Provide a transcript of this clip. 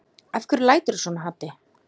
Af hverju læturðu svona Haddi?